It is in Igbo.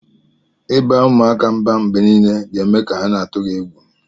Iba umuaka mba mgbe nile ga eme ka ha na atụgi egwu.